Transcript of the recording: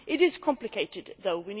It is complicated, though.